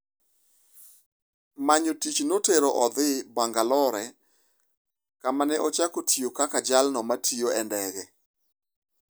Manyo tich notero odhi Bangalore kama ne ochako tiyo kaka jalno matiyo e ndege.